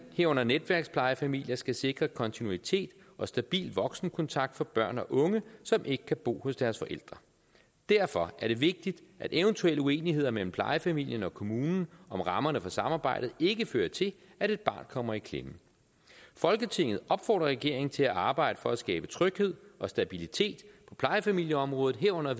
herunder netværksplejefamilier skal sikre kontinuitet og stabil voksenkontakt for børn og unge som ikke kan bo hos deres forældre derfor er det vigtigt at eventuelle uenigheder mellem plejefamilien og kommunen om rammerne for samarbejdet ikke fører til at et barn kommer i klemme folketinget opfordrer regeringen til at arbejde for at skabe tryghed og stabilitet på plejefamilieområdet herunder